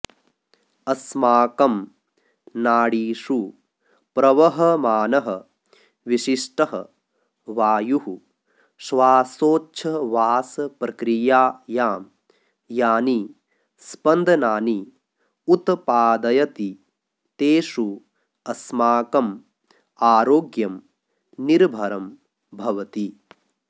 अस्माकं नाडीषु प्रवहमानः विशिष्टः वायुः श्वासोच्छवासप्रक्रियायां यानि स्पन्दनानि उत्पादयति तेषु अस्माकम् आरोग्यम् निर्भरं भवति